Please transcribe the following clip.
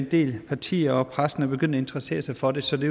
del partier og pressen er begyndt at interessere sig for det så det